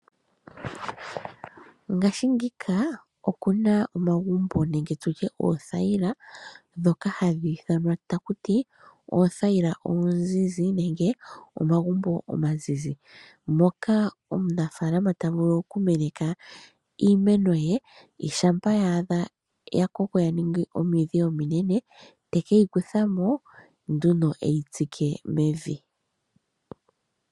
Ngashiingika okuna omagumbo nenge tutye oothayila dhoka hadhi ithwana ta ku tii: oothayila oozizi nenge omagumbo omazizi. Moka omunafaalana ta vulu oku meneka iimeno ye shampa yaadha, ya koko ya ningi omidhi ominene, te ke yi kutha mo nduno e yi tsike mevi.